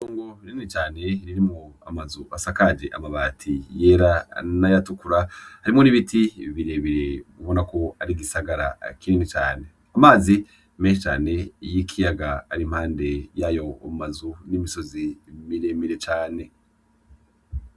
Itongo rinini cane ririmwo amazu asakaje amabati yera n’ayatukura harimwo n' ibiti bire ubona ko ari igisagara kinini cane, amazi menshi cane y' ikiyaga ari impande yayo mazu n' imisozi mire mire cane.